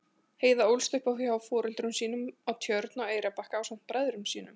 Heiða ólst upp hjá foreldrum sínum á Tjörn á Eyrarbakka ásamt bræðrum sínum.